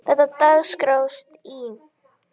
Þegar dagskráin í